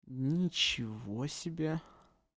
ничего себе